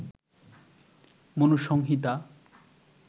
Manusamhita